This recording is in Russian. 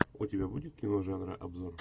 у тебя будет кино жанра обзор